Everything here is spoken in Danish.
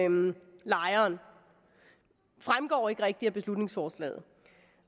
lejeren fremgår ikke rigtig af beslutningsforslaget